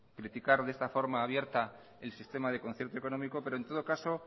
criticar de esta forma abierta el sistema de concierto económico pero en todo caso